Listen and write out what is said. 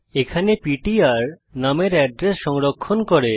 এখানে PTR num এর address সংরক্ষণ করে